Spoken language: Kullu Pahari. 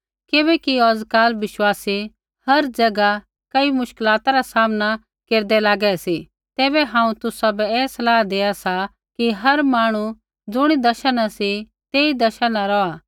किबैकि औजकाल विश्वासी हर जैगा कई मुश्कलाता रा सामना केरदै लागै सी तैबै हांऊँ तुसाबै ऐ सलाह देआ सा कि हर मांहणु ज़ुणी दशा न सी तेई दशा न रौहा